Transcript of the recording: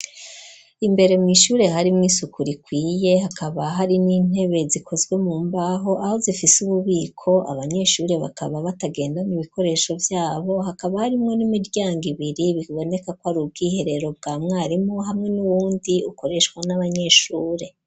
Imbere mw'ishure hari mw'isuku rikwiye hakaba hari n'intebe zikozwe mu mbaho aho zifise ububiko abanyeshure bakaba batagenda mw'ibikoresho vyabo hakaba harimwo n'imiryango ibiri biboneka kwari ubwiherero bwa mwarimu hamwe n'uwundi ukoreshwa n'abanyeshure.